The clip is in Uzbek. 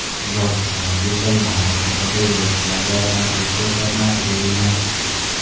Zobitlarga esa yong‘in haqida yo‘lovchilarga aytmaslik ko‘rsatmasi berilgan.